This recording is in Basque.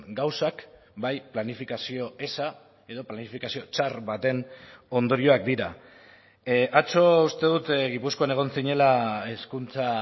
gauzak bai planifikazio eza edo planifikazio txar baten ondorioak dira atzo uste dut gipuzkoan egon zinela hezkuntza